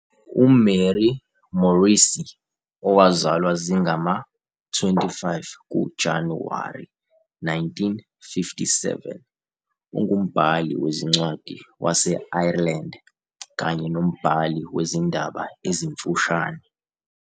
UMary Morrissy, owazalwa zingama-25 kuJanuwari 1957, ungumbhali wezincwadi wase-Ireland kanye nombhali wezindaba ezimfushane.